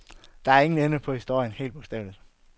Der er ingen ende på historien, helt bogstaveligt.